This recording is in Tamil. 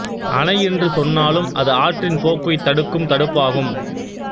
அணை என்று சொன்னாலும் அது ஆற்றின் போக்கை தடுக்கும் தடுப்பாகும்